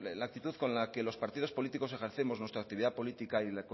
la actitud con la que los partidos políticos ejercemos nuestra actividad política